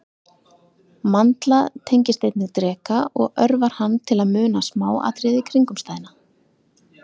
Mandla tengist einnig dreka og örvar hann til að muna smáatriði kringumstæðna.